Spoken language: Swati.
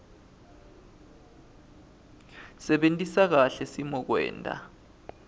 sebentisa kahle simokwenta